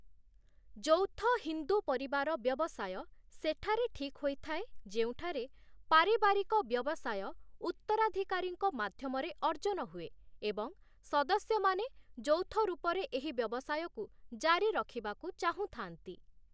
ଯୌଥ ହିନ୍ଦୁ ପରିବାର ବ୍ୟବସାୟ' ସେଠାରେ ଠିକ୍ ହୋଇଥାଏ, ଯେଉଁଠାରେ 'ପାରିବାରିକ ବ୍ୟବସାୟ' ଉତ୍ତରାଧିକାରୀଙ୍କ ମାଧ୍ୟମରେ ଅର୍ଜନ ହୁଏ ଏବଂ ସଦସ୍ୟମାନେ ଯୌଥ ରୂପରେ ଏହି ବ୍ୟବସାୟକୁ ଜାରୀ ରଖିବାକୁ ଚାହୁଁଥାନ୍ତି ।